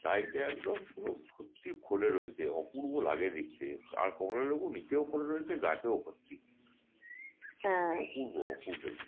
side এ একদম পুরো ভর্তি ফলে রয়েছে অপূর্ব লাগে দেখতে আর কমলা লেবু নীচেও পড়ে রয়েছে গাছেও ভর্তি অপুর্ব অপুর্ব